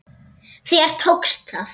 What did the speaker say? Þér tókst það!